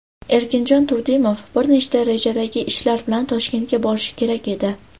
Erkinjon Turdimov bir nechta rejadagi ishlar bilan Toshkentga borishi kerak edi.